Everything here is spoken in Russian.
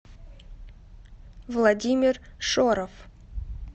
владимир шоров